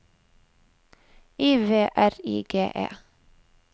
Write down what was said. I V R I G E